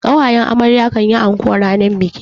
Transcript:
ƙawayen amarya kan yi anko ranar biki.